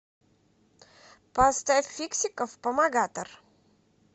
поставь фиксиков помогатор